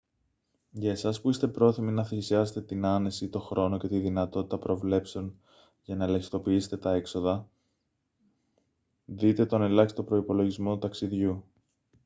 για εσάς που είστε πρόθυμοι να θυσιάσετε την άνεση τον χρόνο και τη δυνατότητα προβλέψεων για να ελαχιστοποιήσετε τα έξοδα δείτε τον ελάχιστο προϋπολογισμό ταξιδιού